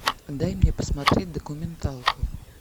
дай мне посмотреть документалку